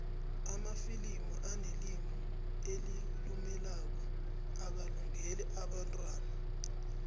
amafilimu anelimu elilumelako akalungeli abentwana